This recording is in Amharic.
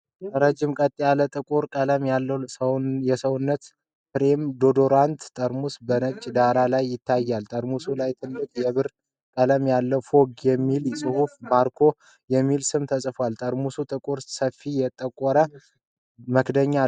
ረዥም፣ ቀጥ ያለ ጥቁር ቀለም ያለው የሰውነት ስፕሬይ(deodorant) ጠርሙስ በነጭ ዳራ ላይ ይታያል። ጠርሙሱ ላይ ትልቅ የብር ቀለም ያለው "FOGG" የሚል ጽሑፍና ማርኮ (MARCO) የሚል ስም ተጽፏል። ጠርሙሱ ጥቁር፣ በሰያፍ የተቆረጠ መክደኛ አለው።